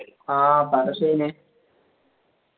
ആ പറ ഷാഹിനെ